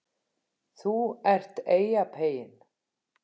ÞÚ ERT EYJAPEYINN